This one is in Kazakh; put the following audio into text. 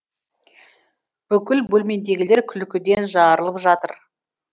бүкіл бөлмедегілер күлкіден жарылып жатыр